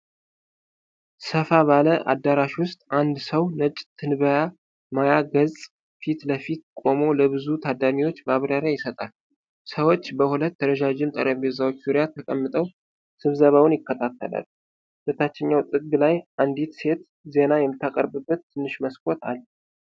ሰፋ ባለ አዳራሽ ውስጥ፣ አንድ ሰው ነጭ ትንበያ ማያ ገጽ ፊት ለፊት ቆሞ ለብዙ ታዳሚዎች ማብራሪያ ይሰጣል። ሰዎች በሁለት ረዣዥም ጠረጴዛዎች ዙሪያ ተቀምጠው ስብሰባውን ይከታተላሉ። በታችኛው ጥግ ላይ አንዲት ሴት ዜና የምታቀርብበት ትንሽ መስኮት አለ።